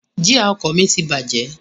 Jia ọkọ̀ mi ti bàjẹ́